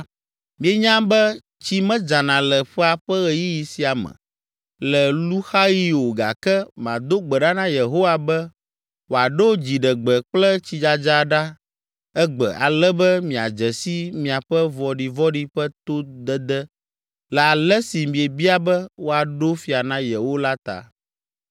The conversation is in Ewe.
Mienya be tsi medzana le ƒea ƒe ɣeyiɣi sia me, le luxaɣi o gake mado gbe ɖa na Yehowa be wòaɖo dziɖegbe kple tsidzadza ɖa egbe ale be miadze si miaƒe vɔɖivɔ̃ɖi ƒe todede le ale si miebia be woaɖo fia na yewo la ta!”